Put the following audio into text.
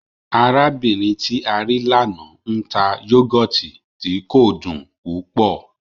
Arábìnrin tí a rí l'ánà n ta yọ́gọ̀tì tí kò dùn púpọ̀